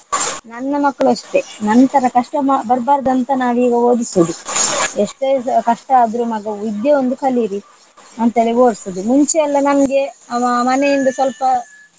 ನನ್ನ ಮಕ್ಕಳೂ ಅಷ್ಟೇ ನನ್ ತರ ಕಷ್ಟ ಮ~ ಬರಬಾರದಂತ ನಾವೀಗ ಓದಿಸುದು. ಎಷ್ಟೇ ಕಷ್ಟ ಆದ್ರು ಮಗ ವಿದ್ಯೆ ಒಂದು ಕಲಿಯಿರಿ ಅಂತೇಳಿ ಓದ್ಸುಡು ಮುಂಚೆಲ್ಲ ನಮ್ಗೆ ಮ~ ಮ~ ಮನೆಯಿಂದ ಸ್ವಲ್ಪ.